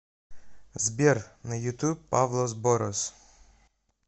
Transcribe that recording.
сбер на ютуб павлос борос